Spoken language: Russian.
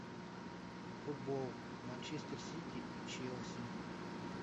футбол манчестер сити и челси